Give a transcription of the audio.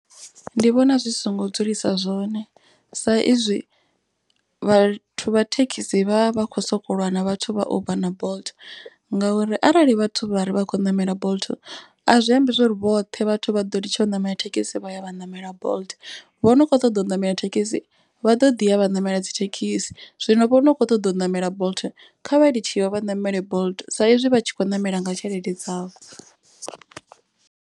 Ndi vhona zwi songo dzulisa zwone sa izwi vhathu vha thekhisi vha vha vha kho soko lwa na vhathu vha uber na bolt. Ngauri arali vhathu vha ri vha khou ṋamela bolt a zwi ambi zwori vhoṱhe vhathu vha ḓo tsha u ṋamela thekhisi vha ya vha ṋamela bolt. Vhono kho ṱoḓa u ṋamela thekhisi vha ḓo ḓi ya vha ṋamela dzi thekhisi. Zwino vho no kho ṱoḓa u ṋamela bolt khavha ḽi tshi yo vha ṋamele bolt. Sa izwi vha tshi kho ṋamela nga tshelede dzavho.